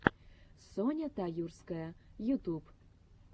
соня таюрская ютуб